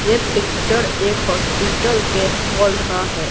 ये पिक्चर एक हॉस्पिटल के हॉल का है।